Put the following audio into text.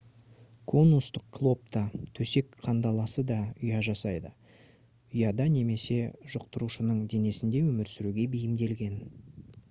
конустық клоп та төсек кандаласы да ұя жасайды ұяда немесе жұқтырушының денесінде өмір сүруге бейімделген